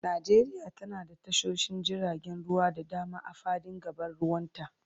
Najeriya tana da tashoshin jiragen ruwa da dama a fadin gabar ruwanta.